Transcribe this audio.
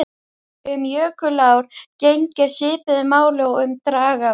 Um jökulár gegnir svipuðu máli og um dragár.